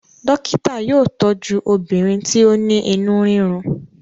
dókítà yóò tọju obìnrin ti o ní inú rirun.